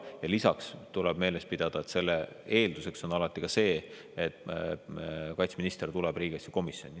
Ja lisaks tuleb meeles pidada, et selle eelduseks on alati see, et kaitseminister tuleb riigikaitsekomisjoni.